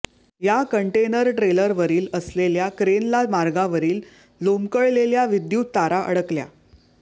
या कंटेनर ट्रेलरवरील असलेल्या क्रेनला मार्गावरील लोंबकळलेल्या विद्युत तारा अडकल्या